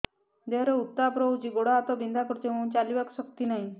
ଦେହରେ ଉତାପ ରହୁଛି ଗୋଡ଼ ହାତ ବିନ୍ଧା କରୁଛି ଏବଂ ଚାଲିବାକୁ ଶକ୍ତି ନାହିଁ